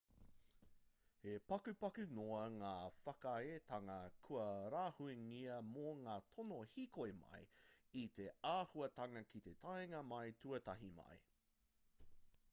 he pakupaku noa ngā whakaaetanga kua rāhuingia mō ngā tono hīkoi-mai i te āhuatanga ki te taenga mai tuatahi mai